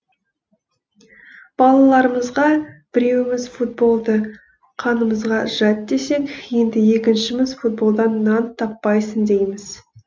балаларымызға біреуіміз футболды қанымызға жат десек енді екіншіміз футболдан нан таппайсың дейміз